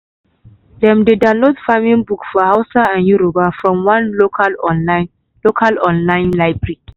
dem dey download farming book for hausa and yoruba from one local online local online library.